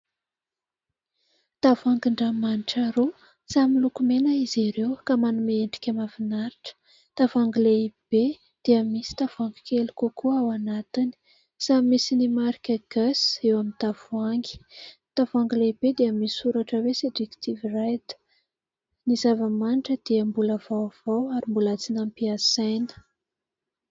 Tavoahangin-dranomanitra roa samy miloko mena izy ireo ka manome endrika mahafinaritra. Tavoahangy lehibe dia misy tavoahangy kely kokoa ao anatiny ; samy misy ny marika " GUESS " eo amin'ny tavoahangy. Tavoahangy lehibe dia misoratra hoe "Seductive Red " ny zava-manitra dia mbola vaovao ary mbola tsy nampiasaina.